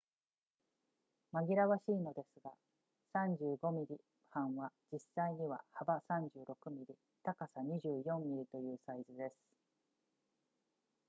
紛らわしいのですが35 mm 判は実際には幅36 mm 高さ24 mm というサイズです